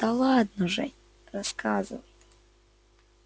да ладно жень рассказывай